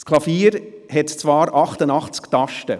Das Klavier hat 88 Tasten.